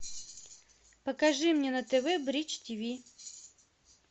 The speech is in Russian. покажи мне на тв бридж тиви